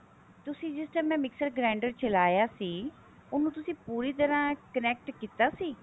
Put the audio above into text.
ਤੁਸੀਂ ਜਿਸ time mam mixer grinder ਚਲਾਇਆ ਸੀ ਉਹਨੂੰ ਤੁਸੀਂ ਪੂਰੀ ਤਰ੍ਹਾਂ connect ਕੀਤਾ ਸੀ